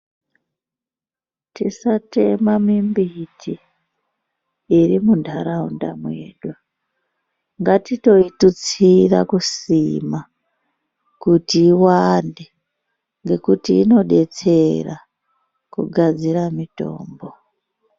Tisatema mimbiti iri muntaraunda mwedu ngatitoitutsira kusima kuti iwande ngekuti inodetsera kugadzira mitombo.